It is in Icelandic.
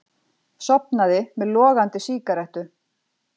Sofnaði með logandi sígarettu